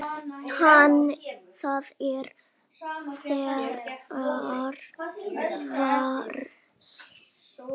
Þetta er þriðja vers.